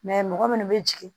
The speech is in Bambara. mɔgɔ minnu bɛ jigin